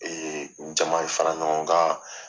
jama faraɲɔgɔnkan